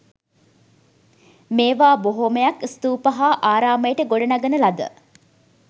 මේවා බොහොමයක් ස්තූප හා ආරාමයට ගොඩනගන ලද